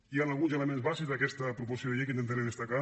hi han alguns elements bàsics d’aquesta proposició de llei que intentaré destacar